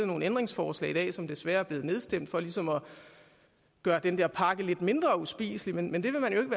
nogle ændringsforslag i dag som desværre er blevet nedstemt for ligesom at gøre den her pakke lidt mindre uspiselig men men det vil man jo